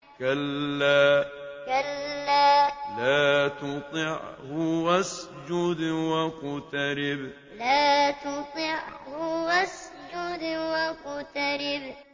كَلَّا لَا تُطِعْهُ وَاسْجُدْ وَاقْتَرِب ۩ كَلَّا لَا تُطِعْهُ وَاسْجُدْ وَاقْتَرِب ۩